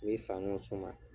I bɛ fani dɔ suma